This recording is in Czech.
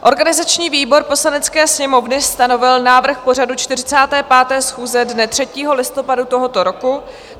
Organizační výbor Poslanecké sněmovny stanovil návrh pořadu 45. schůze dne 3. listopadu tohoto roku.